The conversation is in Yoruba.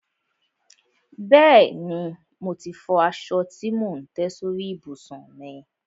Bẹ́ẹ̀ni, mo ti fọ aṣọ tí mò ń tẹ́ sórí ìbùsùn mi.